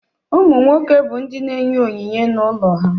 Ụmụ nwoke bụ ndị na-enye onyinye n'ụlọ ha.